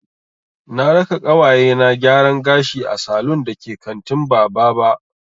Na raka ƙawaye na gyaran gashi a salun da ke kantin Bababa.